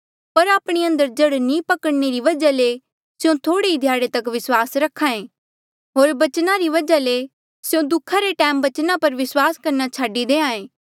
पर आपणे अंदर जड़ नी पकड़णने री वजहा ले स्यों थोह्ड़े ही ध्याड़े तक विस्वास रख्हा ऐें होर बचना री वजहा ले स्यों दुःखा रे टैमा बचना पर विस्वास करना छाडी देहां ऐें